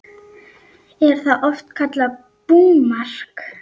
Er það oft kallað búmark.